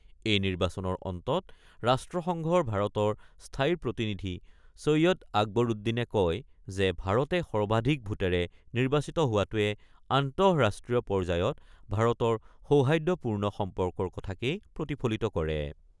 এই নিৰ্বাচনৰ অন্তত ৰাষ্ট্ৰসংঘৰ ভাৰতৰ স্থায়ী প্ৰতিনিধি ছৈয়িদ আকবউদ্দিনে কয় যে ভাৰতে সৰ্বাধিক ভোটেৰে নিৰ্বাচিত হোৱাটোৱে আন্তঃৰাষ্ট্ৰীয় পৰ্যায়ত ভাৰতৰ সৌহাদ্যপূৰ্ণ সম্পৰ্কৰ কথাকেই প্ৰতিফলিত কৰে।